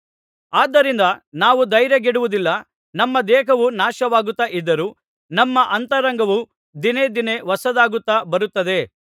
ಆದ್ದರಿಂದ ನಾವು ಧೈರ್ಯಗೆಡುವುದಿಲ್ಲ ನಮ್ಮ ದೇಹವು ನಾಶವಾಗುತ್ತಾ ಇದ್ದರೂ ನಮ್ಮ ಅಂತರಂಗವು ದಿನೇ ದಿನೇ ಹೊಸದಾಗುತ್ತಾ ಬರುತ್ತದೆ